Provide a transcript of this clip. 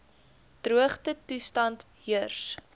droogte toestande heers